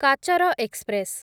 କାଚର ଏକ୍ସପ୍ରେସ୍